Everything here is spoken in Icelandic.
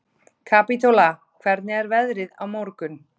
Kapítóla, hvernig er veðrið á morgun?